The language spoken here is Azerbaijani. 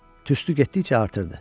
Tüstü getdikcə artırdı.